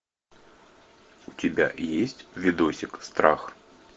у тебя есть видосик страх